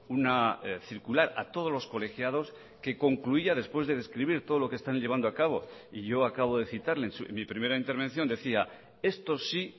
una circular a todos los colegiados que concluía después de describir todo lo que están llevando a cabo y yo acabo de citarle en mi primera intervención decía esto sí